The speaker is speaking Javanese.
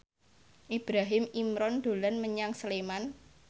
Ibrahim Imran dolan menyang Sleman